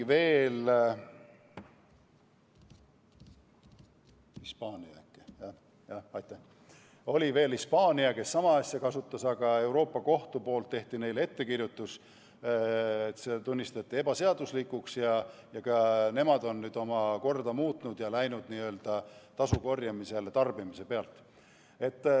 Varem oli veel Hispaania, kes sama asja kasutas, aga Euroopa Kohus tegi neile ettekirjutuse, see tunnistati ebaseaduslikuks viisiks, nii et ka nemad on nüüd oma korda muutnud ja läinud üle tasu korjamisele tarbimise pealt.